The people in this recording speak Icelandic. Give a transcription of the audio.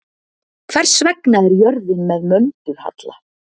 Hvers vegna er jörðin með möndulhalla?